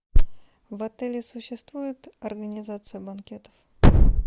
в отеле существует организация банкетов